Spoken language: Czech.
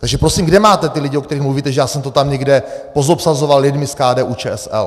Takže prosím, kde máte ty lidi, o kterých mluvíte, že já jsem to tam někde pozobsazoval lidmi z KDU-ČSL?